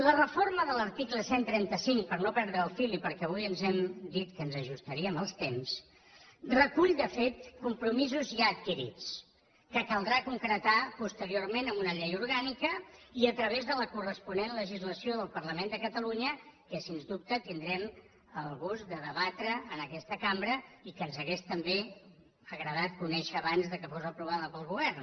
la reforma de l’article cent i trenta cinc per no perdre el fil i perquè avui ens hem dit que ens ajustaríem als temps recull de fet compromisos ja adquirits que caldrà concretar posteriorment amb una llei orgànica i a través de la corresponent legislació del parlament de catalunya que sens dubte tindrem el gust de debatre en aquesta cambra i que ens hauria també agradat conèixer abans que fos aprovada pel govern